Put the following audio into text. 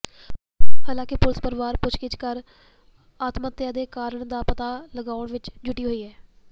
ਹਾਲਾਂਕਿ ਪੁਲਿਸ ਪਰਵਾਰ ਤੋਂ ਪੁੱਛਗਿਛ ਕਰ ਆਤਮਹੱਤਿਆ ਦੇ ਕਾਰਣਾਂ ਦਾ ਪਤਾ ਲਗਾਉਣ ਵਿਚ ਜੁਟੀ ਹੈ